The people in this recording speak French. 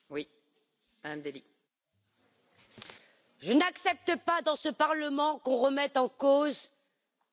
Je n'accepte pas, dans ce Parlement, qu'on remette en cause mes compétences au sein de la commission des transports.